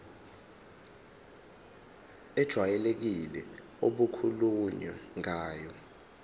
ejwayelekile okukhulunywe ngayo